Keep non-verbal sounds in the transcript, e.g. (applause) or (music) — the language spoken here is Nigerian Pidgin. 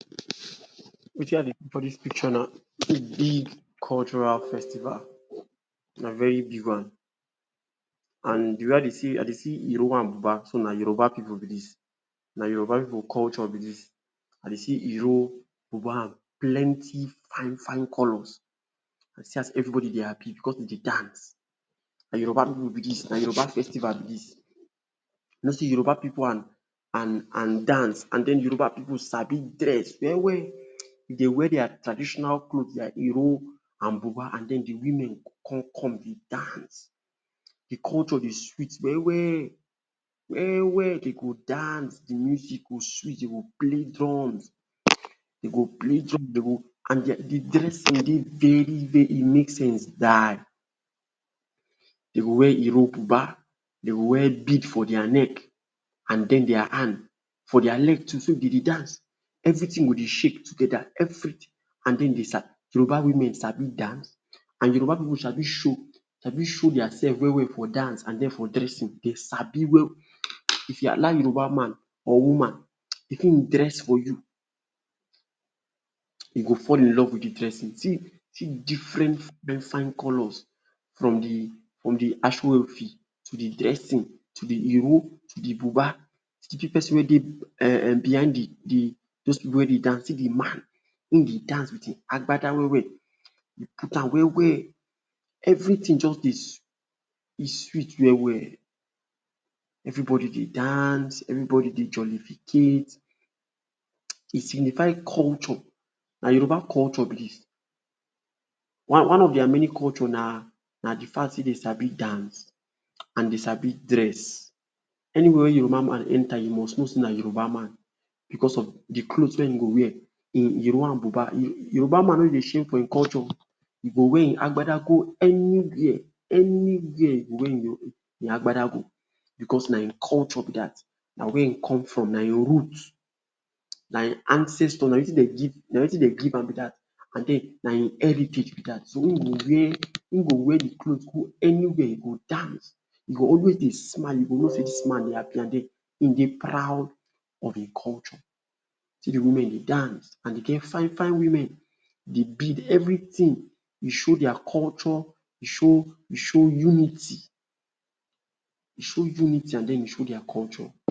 Wetin I dey see for dis picture na um big cultural festival – na very big one. And the way I dey see I dey see Ìró and Bùbá, so na Yoruba pipu be dis. Na Yoruba pipu culture be dis. I dey see Ìró, Bùbá and plenty fine-fine colours. See as everybody dey happy because de dey dance. Na Yoruba pipu be dis. Na Yoruba festival be dis. You know sey Yoruba pipu and and and dance and then Yoruba pipu sabi dress well-well. If de wear dia traditional cloth like Ìró and Bùbá and then the women go come come dey dance. The culture dey sweet well-well well-well. De go dance, the music go sweet, de go play drums um de go play drum, de go and the dressing dey very-very e make sense die. De go wear Ìró, Bùbá, de go wear bead for dia neck, and then dia hand, for dia leg too, so if dem dey dance, everything go dey shake together - everything. And then de um Yoruba women sabi dance! And Yoruba pipu sabi show sabi show dia sef well-well for dance and then for dressing- de sabi well-well. If you allow Yoruba man or woman, if im dress for you, you go fall in love with the dressing. See see different um fine colours from the from the Aso Ofi to the dressing to the Ìró to the Bùbá. See (laughs) pesin wey dey um um behind the the those pipu wey dey dance, see the man, im dey dance with Agbada well-well - im put am well-well. Everything just dey um e sweet well-well. Everybody dey dance, everybody dey jollificate um. E signify culture, na Yoruba culture be dis. One one of dia many culture na na the fact sey de sabi dance and de sabi dress. Anywhere wey Yoruba man enter you must know sey na Youba man because of the cloth wey e go wear - im Ìró and Bùbá. Yoruba man no dey shame for im culture o! E go wear im Agbada go anywhere anywhere e go wear im um Agbada go because na im culture be that, na where im come from, na im root, na im ancestor, na wetin de give na wetin de give am be that. And then na im heritage be that. And so im go wear im go wear the cloth go anywhere, e go dance, e go always dey smile, you go know sey dis man dey happy and then e dey proud of im culture. See the women dey dance and dem get fine-fine women. The bead, everything dey show dia culture, dey show dey show unity, dey show unity and then dey show dia culture.